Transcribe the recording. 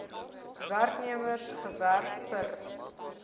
werknemers gewerf per